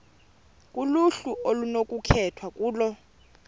kuluhlu okunokukhethwa kulo